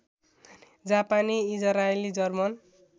जापानी इजरायली जर्मन